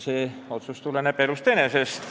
See otsus tuleneb elust enesest.